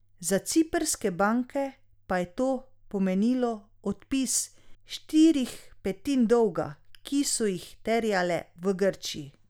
Za ciprske banke pa je to pomenilo odpis štirih petin dolga, ki so jih terjale v Grčiji.